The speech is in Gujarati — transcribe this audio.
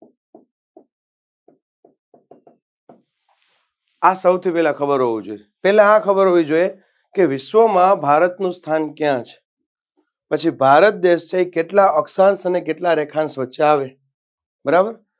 આ સૌથી પહેલા ખબર હોવી જોઈએ પેલા આ ખબર હોવી જોઈએ કે વિશ્વમાં ભારતનું સ્થાન કયા છે? પછી ભારત દેશ છે એ કેટલા અક્ષાંશ અને કેટલા રેખાંશ વચ્ચે આવે છે? બરાબર